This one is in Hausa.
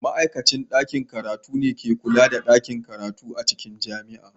Ma'aikacin ɗakin karatu ne ke kula da ɗakin karatu a cikin jami'a.